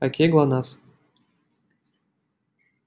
окей глонассс